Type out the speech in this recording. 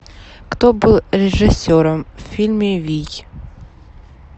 кто был режиссером в фильме вий